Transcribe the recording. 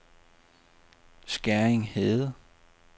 Skæring Hede